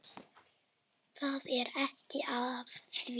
Það er ekkert að því.